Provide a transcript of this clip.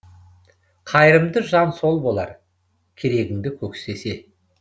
қайырымды жан сол болар керегіңді көктесе